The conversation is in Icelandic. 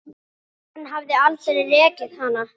Hann hefði aldrei rekið hana.